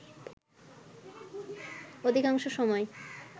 অধিকাংশ সময়